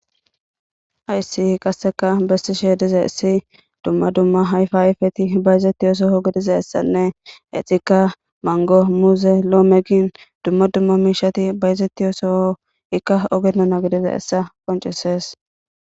hayssii qasseka bessishe dizayissi dumma dumma ayfa ayfeti bayezettiyo soho gidiza essanne etika mango muuze lome dumma dumma miishati bayezettiyo soho ikka oge dona gidizayissa qoncesees